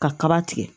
Ka kaba tigɛ